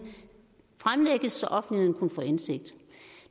fremlægges så offentligheden kunne få indsigt